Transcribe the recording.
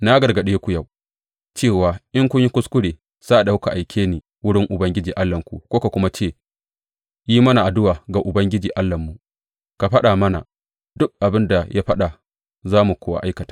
Na gargaɗe ku yau cewa in kun yi kuskure sa’ad da kuka aike ni wurin Ubangiji Allahnku kuka kuma ce, Yi mana addu’a ga Ubangiji Allahnmu; ka faɗa mana duk abin da ya faɗa za mu kuwa aikata.’